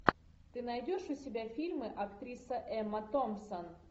ты найдешь у себя фильмы актриса эмма томпсон